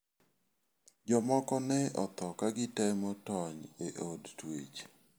Jomoko ne otho ka gitemo tony e od twech.